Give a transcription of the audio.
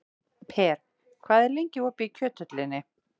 Per, hvað er lengi opið í Kjöthöllinni?